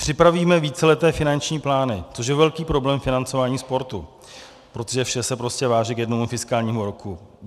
Připravíme víceleté finanční plány - což je velký problém financování sportu, protože vše se prostě vážně k jednomu fiskálnímu roku.